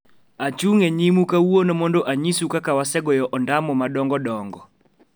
Achung' e nyimu kawuono mondo anyisu kaka wasegoyo ondamo madongodongo'.